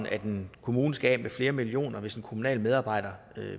at en kommune skal af med flere millioner hvis en kommunal medarbejder